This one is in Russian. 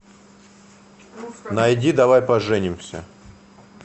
найди давай поженимся